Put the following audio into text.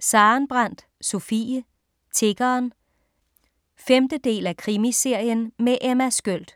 Sarenbrant, Sofie: Tiggeren 5. del af Krimiserien med Emma Sköld.